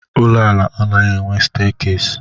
Ụlọala anaghị enwe steekesi.